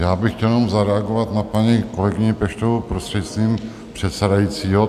Já bych chtěl jenom zareagovat na paní kolegyni Peštovou, prostřednictvím předsedajícího.